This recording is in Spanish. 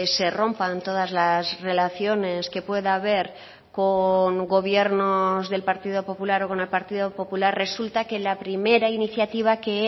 se rompan todas las relaciones que pueda haber con gobiernos del partido popular o con el partido popular resulta que la primera iniciativa que